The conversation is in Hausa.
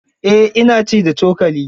Eh ina ci da cokali.